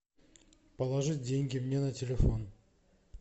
положи деньги мне на телефон